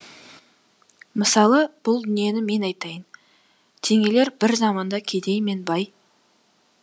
мысалы бұл дүниені мен айтайын теңелер бір заманда кедей мен бай